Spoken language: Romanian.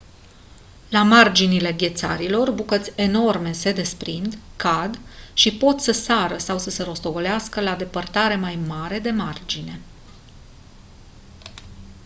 la marginile ghețarilor bucăți enorme se desprind cad și pot să sară sau să se rostogolească la depărtare mai mare de margine